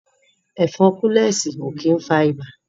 Ẹ̀fọn kúlẹ̀sì ó kí ń fa ibà